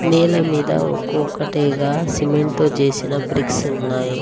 నేల మీద ఒక్కో ఒక్కటిగా సిమెంట్ తో చేసిన బ్రిక్స్ ఉన్నాయి.